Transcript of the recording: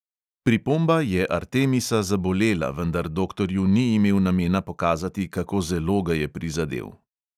Pripomba je artemisa zabolela, vendar doktorju ni imel namena pokazati, kako zelo ga je prizadel.